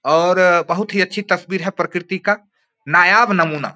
और अ बोहोत ही अच्छी तस्बीर है प्रकर्ति का नयाब नमूना --